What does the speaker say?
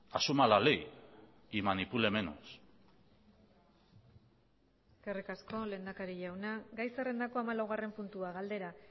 asuma la ley y manipule menos eskerrik asko lehendakari jauna gai zerrendako hamalaugarren puntua galdera